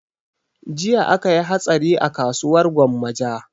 Jiya akayi hatsari a kasuwar gwammaja